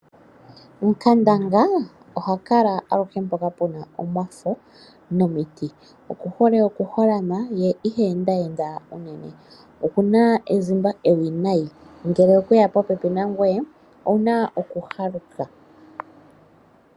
Nkandanga oha kala aluhe mpoka pu na omafo nomiti. Okuhole okuholama ye iha enda enda unene. Oku na ezimba ewinayi, ngele okwe ya popepi nangoye owu na okuhaluka.